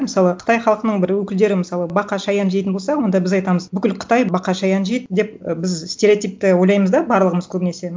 мысалы қытай халқының бір өкілдері мысалы бақа шаян жейтін болса онда біз айтамыз бүкіл қытай бақа шаян жейді деп і біз стереотипті ойлаймыз да барлығымыз көбінесе